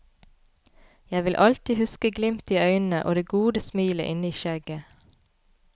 Jeg vil alltid huske glimtet i øynene og det gode smilet inne i skjegget.